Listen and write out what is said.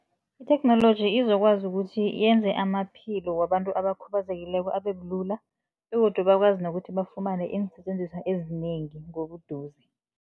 Itheknoloji izokwazi ukuthi yenze amaphilo wabantu abakhubazekileko abe bulula begodu bakwazi nokuthi bafumane iinsetjenziswa ezinengi ngobuduze.